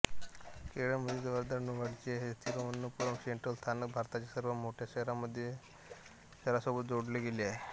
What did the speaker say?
केरळमधील सर्वात वर्दळीचे असलेले तिरुवनंतपुरम सेंट्रल स्थानक भारताच्या सर्व मोठ्या शहरांसोबत जोडले गेले आहे